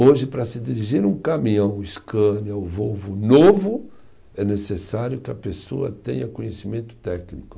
Hoje, para se dirigir um caminhão Scania ou Volvo novo, é necessário que a pessoa tenha conhecimento técnico.